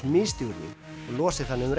misstígur þig og losi þannig um